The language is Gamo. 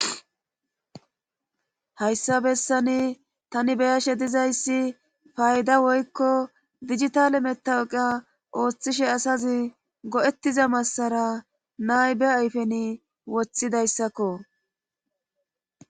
hayssa bessani tani beyashe dizayssi fayda woykko dijitale metaoqa ooththishe asazi go7ettiza massara naybe ayfen woththidayssakko